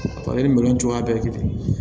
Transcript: Ale ni minɛn cogoya bɛ yen